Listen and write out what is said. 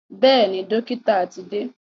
Bẹ́ẹ̀ni, dọ́kítà ti dé.